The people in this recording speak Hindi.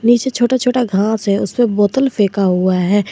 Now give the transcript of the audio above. नीचे छोटा छोटा घास है उसपे बोतल फेंका हुआ है।